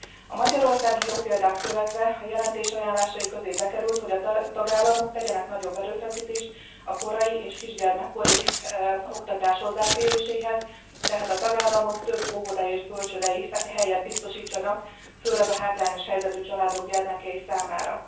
A magyarországi jó példát követve, a jelentés ajánlásai közé bekerült, hogy a tagállamok tegyenek nagyobb erőfeszítést a korai, és kisgyermekkori oktatás hozzáféréséhez, tehát a tagállamok több óvodai és bölcsődei helyet biztosítsanak, főleg a hátrányos helyzetű családok gyermekei számára.